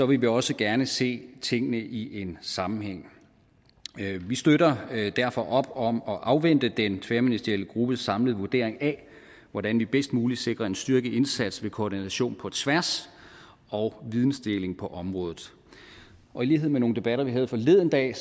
vi også gerne se tingene i en sammenhæng vi støtter derfor op om at afvente den tværministerielle gruppes samlede vurdering af hvordan vi bedst muligt sikrer en styrket indsats ved koordination på tværs og videndeling på området og i lighed med nogle debatter vi havde forleden dag